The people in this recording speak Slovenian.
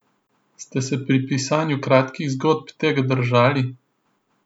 Ste se pri pisanju kratkih zgodb tega držali?